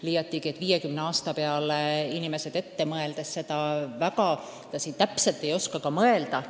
Seda enam, et viiekümne aasta peale ette inimesed väga täpselt ei oskagi mõelda.